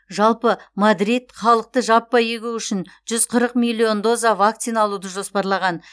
жалпы мадрид халықты жаппай егу үшін жүз қырық миллион доза вакцина алуды жоспарлаған